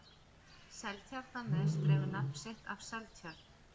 seltjarnarnes dregur nafn sitt af seltjörn